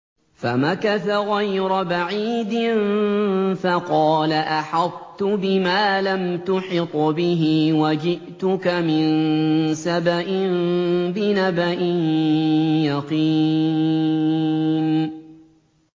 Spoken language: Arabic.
فَمَكَثَ غَيْرَ بَعِيدٍ فَقَالَ أَحَطتُ بِمَا لَمْ تُحِطْ بِهِ وَجِئْتُكَ مِن سَبَإٍ بِنَبَإٍ يَقِينٍ